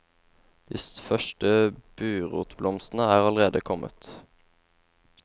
De første burotblomstene er allerede kommet.